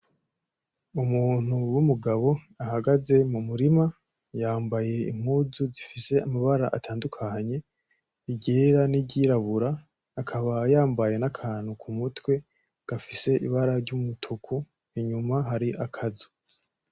Umuntu w'umugabo ahagaze m'umurima yambaye impuzu zifise amabara atandukanye, iryera niryirabura akaba yambaye n’akantu ku mutwe gafise ibara ry'umutuku. Inyuma hari akazu.